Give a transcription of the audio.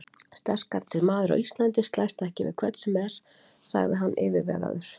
Sterkasti maður á Íslandi slæst ekki við hvern sem er, sagði hann yfirvegaður.